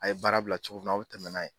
A ye baara bila cogo min na aw bɛ tɛmɛn n'a ye.